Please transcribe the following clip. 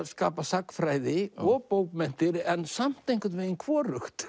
skapa sagnfræði og bókmenntir en samt einhvern veginn hvorugt